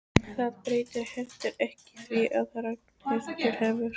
Það breytir heldur ekki því að Ragnhildur hefur